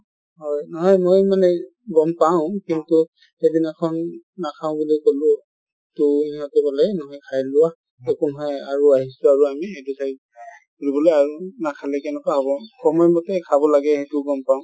হয় নহয় মই মানে গ'ম পাঁও, কিন্তু সেইদিনাখন নাখাঁও বুলি কলোঁ ট সিহঁতে ক'লে খাই লোৱা একো নহয় আৰু আহিছো আৰু আমি এইটো ঠাইত ফুৰিবলে আৰু নাখালে কেনেকে হব , সময় মতে খাব লাগে সেইটো গ'ম পাঁও |